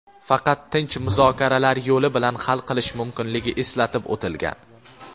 faqat tinch muzokaralar yo‘li bilan hal qilish mumkinligi eslatib o‘tilgan.